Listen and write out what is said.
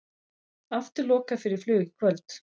Aftur lokað fyrir flug í kvöld